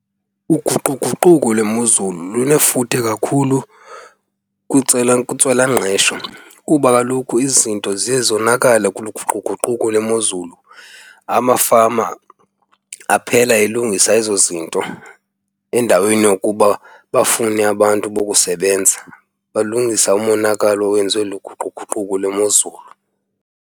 Uguquguquko lwemozulu lunefuthe kakhulu kwintswelangqesho kuba kaloku izinto ziye zonakale kulo uguquguquko lwemozulu. Amafama aphela elungisa ezo zinto endaweni yokuba bafune abantu bokusebenza, balungisa umonakalo owenziwe luguquguquko lwemozulu.